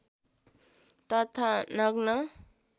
तथा नग्न